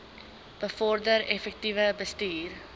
bevorder effektiewe bestuur